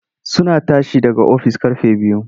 Suna tashi daga ofis ƙarfe biyu.